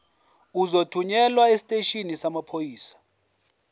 uzothunyelwa esiteshini samaphoyisa